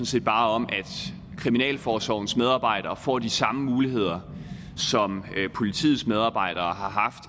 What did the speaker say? set bare om at kriminalforsorgens medarbejdere får de samme muligheder som politiets medarbejdere har haft